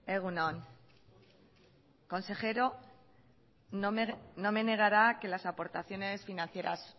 egun on consejero no me negará que las aportaciones financieras